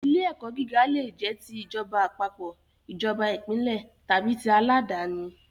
Ilé-ẹ̀kọ́ gíga leè jẹ́ ti ìjọba àpapọ̀, ìjọba ìbílẹ̀ tàbí ti àládàáni.